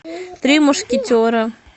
три мушкетера